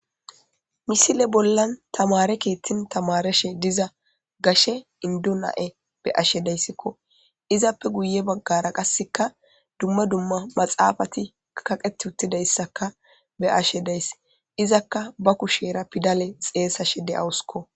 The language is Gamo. Misile bollan tamare keettin tamareshe diza gashe indu na7e be ashe deyssikko izappe guye baggara qasseka dumma dumma maxaafati kaqet uttidayssaka be ashe dayss izakka ba kushera pidale xeesa she de7awuskko.